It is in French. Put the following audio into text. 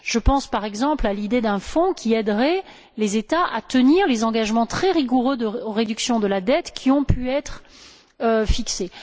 Je pense, par exemple, à l'idée d'un Fonds qui aiderait les États à tenir les engagements très rigoureux de réduction de la dette qui ont pu être fixés.